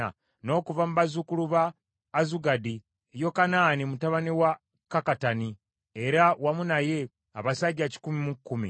n’okuva mu bazzukulu ba Azugadi, Yokanaani mutabani wa Kakkatani, era wamu naye abasajja kikumi mu kkumi (110);